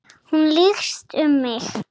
Hún lykst um mig.